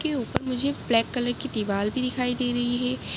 के ऊपर मुझे ब्लेक कलर की दिवार भी दिखाई दे रही है।